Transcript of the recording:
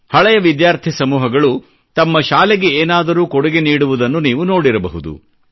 ಹಳೆಯ ವಿದ್ಯಾರ್ಥಿ ಸಮೂಹಗಳು ತಮ್ಮ ಶಾಲೆಗೆ ಏನಾದರೂ ಕೊಡುಗೆ ನೀಡುವುದನ್ನು ನೀವು ನೋಡಿರಬಹುದು